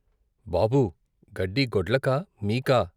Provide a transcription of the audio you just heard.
బాబూ గడ్డి గొడ్లకా మీకా?